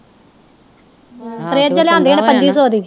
fridge ਲਿਆਂਦੀ ਉਹਨੇ ਪੰਜੀ ਸੌ ਦੀ